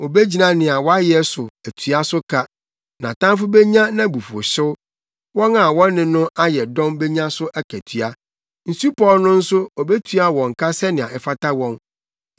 Obegyina nea wɔayɛ so atua so ka nʼatamfo benya nʼabufuwhyew wɔn a wɔne no ayɛ dɔm benya so akatua; nsupɔw no nso obetua wɔn ka sɛnea ɛfata wɔn.